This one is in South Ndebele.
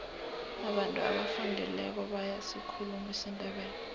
abantu abafundileko bayasikhuluma isindebele